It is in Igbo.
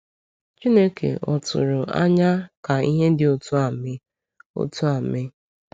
Chineke ò tụrụ anya ka ihe dị otú a mee? otú a mee?